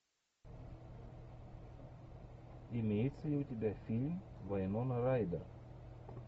имеется ли у тебя фильм вайнона райдер